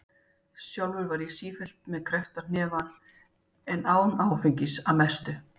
Sjálfur var ég sífellt með kreppta hnefa en án áfengis- að mestu.